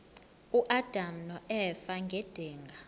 uadam noeva ngedinga